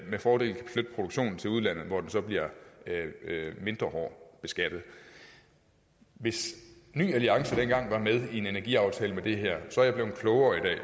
med fordel kan flytte produktionen til udlandet hvor den så bliver mindre hårdt beskattet hvis ny alliance dengang var med i en energiaftale med det her så er jeg blevet klogere i